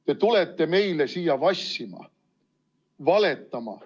Te tulete meile siia vassima, valetama.